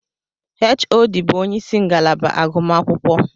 HOD bụ ónyé ịsị ngalaba agụmakwụkwọ.